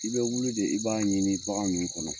I bɛ wuli de, i b'a ɲini bagan ninnu kɔnɔ.